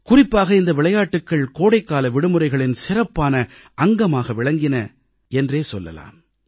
குறிப்பாக இந்த விளையாட்டுக்கள் கோடைக்கால விடுமுறைகளின் சிறப்பான அங்கமாக விளங்கின என்றே சொல்லலாம்